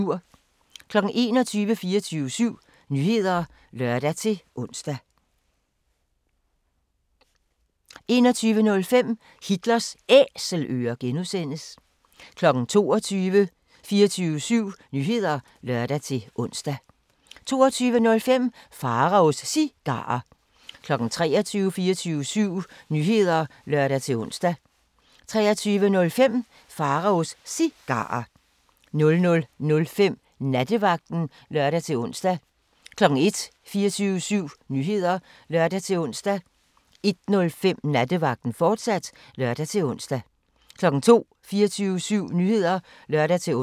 21:00: 24syv Nyheder (lør-ons) 21:05: Hitlers Æselører (G) 22:00: 24syv Nyheder (lør-ons) 22:05: Pharaos Cigarer 23:00: 24syv Nyheder (lør-ons) 23:05: Pharaos Cigarer 00:05: Nattevagten (lør-ons) 01:00: 24syv Nyheder (lør-ons) 01:05: Nattevagten, fortsat (lør-ons) 02:00: 24syv Nyheder (lør-ons)